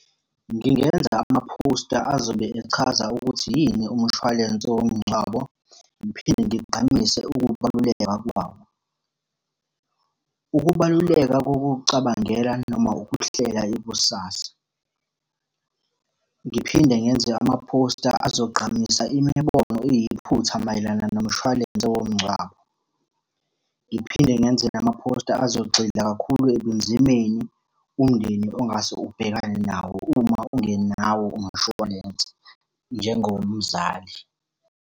Ngingenza amaphosta azobe echaza ukuthi yini umushwalense womngcwabo, ngiphinde ngigqamise ukubaluleka kwawo. Ukubaluleka kokucabangela noma ukuhlela ikusasa. Ngiphinde ngenze amaphosta azogqamisa imibono eyiphutha mayelana nomshwalense womngcwabo. Ngiphinde ngenze namaphosta abazogxila kakhulu ebunzimeni umndeni ongase ubhekane nawo uma ungenawo umshwalense njengomzali.